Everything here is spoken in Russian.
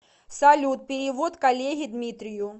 салют перевод коллеге дмитрию